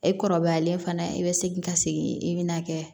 E kɔrɔbayalen fana i be segin ka segin i bɛna kɛ